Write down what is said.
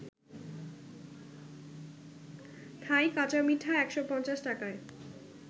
থাই কাঁচামিঠা ১৫০ টাকায়